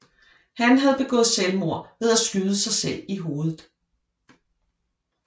Han havde begået selvmord ved at skyde sig selv i hovedet